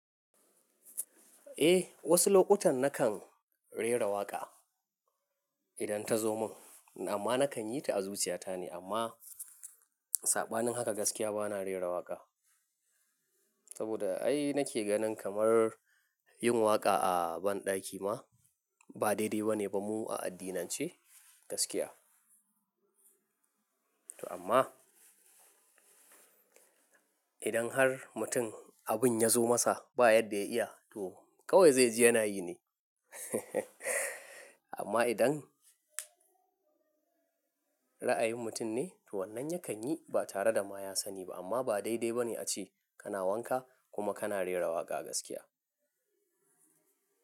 Eh, wasu lokutan na kan rera waƙa idan ta zo mun, amma na kan yi ta azuciya ta ne. Amma saɓanin haka gaskiya ba na rera waƙa. Saboda ai na ke ganin kamar yin waƙa a banɗaki ma ba daidai ba ne ba mu a addinan ce gaskiya. To amma idan har mutum abin ya zo masa ba yadda ya iya, to kawai zai ji yana yi ne. Amma idan ra'ayin mutum ne, to wannan ya kan yi ba tare da ma ya sani ba. Amma ba daidai ba ne a ce kana wanka kuma kana rera waƙa gaskiya.